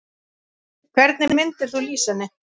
Hvernig myndir þú lýsa henni?